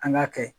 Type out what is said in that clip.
An k'a kɛ